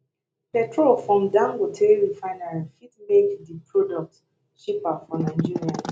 petrol from dangote refinery fit make di product cheaper for nigerians